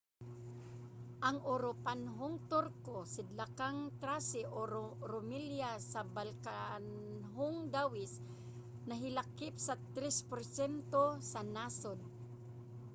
ang uropanhong turko sidlakang thrace o rumelia sa balkanhong dawis nahilakip sa 3% sa nasod